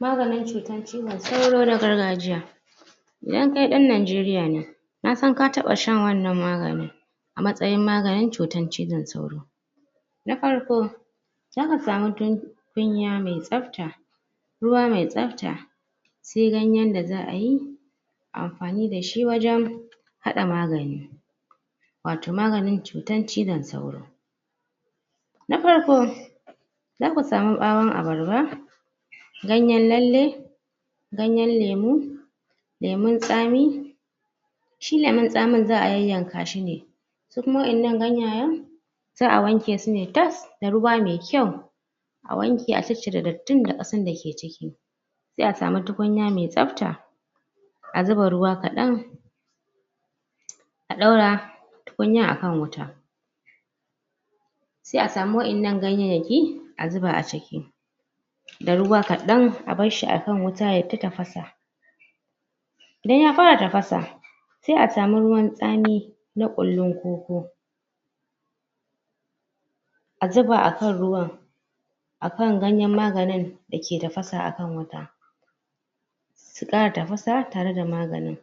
maganin cutan cizon sauro na gargajiya yankan en nijeriya ne nasan ka taba shan wannan maganin a matsayin maganin cutan cizon sauro na farko zaka samu tukunya mai tsafta ruwa mai tsafta sai ganyen da za'ayi amfani dashi wajen hada magani wato maganin cutan cizon sauro na farko zaku samu bawon abarba ganyen lalle ganyen lemu lemun tsami shi lemun tsamin za'a yanyanka shi ne su kuma wa'ennan ganayen za'a wanke su ne tas da ruwa mai kyau a wanke a cire dattin da kasan dake jiki sai a samu tukunya mai tsafta a zuba ruwa kadan a daura tukunyan a kan wuta sai a samu wa'ennan gayyenyaki a zubz a ciki da ruwa kadan a barshi akan wuta ya ta tafasa idan ya fara tafasa sai a samu ruwan tsami na kullun koko a zuba a kan ruwan a kan ganyen maganin dake tafasa akan wuta su kara tafasa da maganin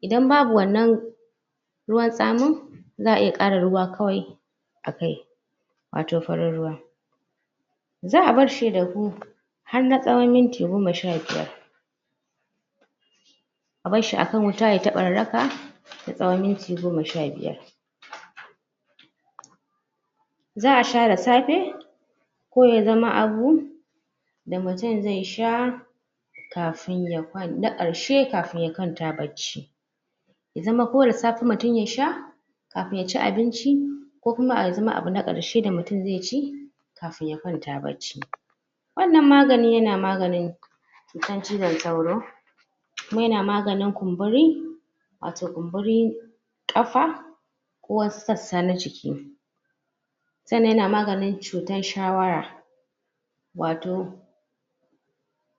idan babu wannan ruwan tsamin za'a iya kara ruwa kawai a kai wato farin ruwa za'a barshi ya ɗafu har na tsawon minti goma sha biyar a barshi akan wuta ya ta bararraka na tsawon minti goma sha biyar za'a sha da safe ko ya zama abu da mutun zai sha na karshe kafun ya kwanta bacci ya zama ko da safe mutum ya sha kafun ya ci abinci ko kuma ya zama abu na karshe da mutum zai ci kafun ya kwanta bacci wannan maganin yana maganin cutan cizon sauro kuma yana maganin kumburi wato kumburi ƙafa na jiki sannan yana maganin cutan shawara wato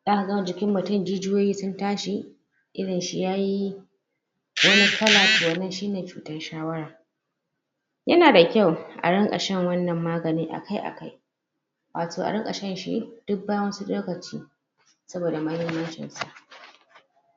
zaka ga jikin mutun jijiyoyi sun tashi idon shi yayi wani kalla toh wannan shine cutan shawara yana da kyau a ringa shan wannan maganin a kai a kai wato a ringa shan shi duk lokaci saboda mahimmancin sa